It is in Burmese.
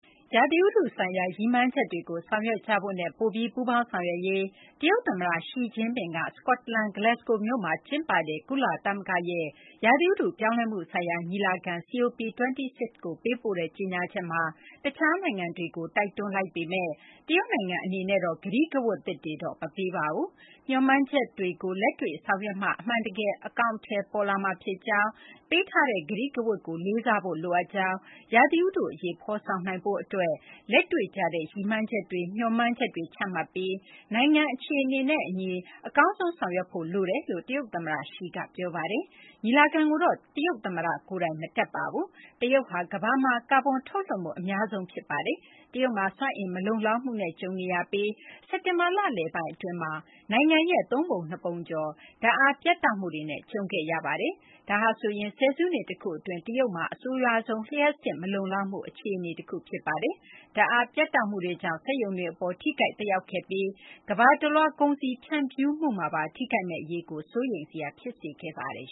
ရာသီဥတုဆိုင်ရာ ရည်မှန်းချက်တွေကို ဆောင်ရွက်ကြဖို့နဲ့ ပိုပြီး ပူေးပါင်းဆောင်ရွက်ရေး တရုတ်သမ္မတ Xi Jinping က စကော့တလန် Glasgow မြို့မှာ ကျင်းပတဲ့ ကုလသမဂ္ဂရဲ့ ရာသီဥတု ပြောင်းလဲမှု ဆိုင်ရာ ညီလာခံ - COP26 ကို ပေးပို့တဲ့ ကြေညာချက်မှာ တခြား နိုင်ငံတွေကို တိုက်တွန်းလိုက်ပေမဲ့ တရုတ်နိုင်ငံအနေနဲ့ ကတိကဝတ် သစ်တွေတော့ မပေးပါဘူး။ မျှော်မှန်းချက်တွေကို လက်တွေ့ ဆောင်ရွက်မှ အမှန်တကယ် အကောင်အထည် ပေါ်လာမှာ ဖြစ်ကြောင်း၊ ပေးထားတဲ့ ကတိကဝတ်ကို လေးစားဖို့လိုအပ်ကြောင်း၊ ရာသီဥတု အရေး ဖော်ဆောင်နိုင်ဖို့ အတွက် လက်တွေ့ကျတဲ့ ရည်မှန်းချက်တွေ၊ မျှော်မှန်းချက်တွေ ချမှတ်ပြီး နိုင်ငံ အခြေအနေနဲ့ အညီ အကောင်းဆုံး ဆောင်ရွက်ဖို့ လိုအပ်ကြောင်း တရုတ် သမ္မတ Xi က ပြောဆိုထားပါတယ်။ ညီလာခံကိုတော့ တရုတ်သမ္မတ Xi ကိုယ်တိုင် မတက်ရောက်ပါဘူး။ တရုတ်ဟာ ကမ ္ဘာမှာ ကာဗွန် ထုတ်လွှတ်မှု အများဆုံး နိုင်ငံဖြစ်ပါတယ်။ တရုတ်မှာ စွမ်းအင် မလုံလောက်မှုနဲ့ ကြုံတွေ့နေပြီး စက်တင်ဘာ လလယ်ပိုင်း အတွင်းမှာ နိုင်ငံရဲ့ သုံးပုံနှစ်ပုံကျော် ဓာတ်အား ပြတ်တောက်မှုတွေနဲ့ ကြုံခဲ့ရပါတယ်။ ဒါဟာဆိုရင် ဆယ်စုနှစ် တခု အတွင်း တရုတ်မှာ အဆိုးရွားဆုံး လျှပ်စစ် မလုံလောက်မှု အခြေအနေ တခု ဖြစ်ပါတယ်။ ဓာတ်အား ပြတ်တောက်မှုတွေကြောင့် စက်ရုံတွေ အပေါ် ထိခိုက်သက်ရောက်ခဲ့ပြီး ကမ ္ဘာတလွှား ကုန်စည် ဖြန့်ဖြူမှုမှာပါ ထိခိုက်မယ့် အရေးကို စိုးရိမ်စရာ ဖြစ်စေခဲ့ပါတယ်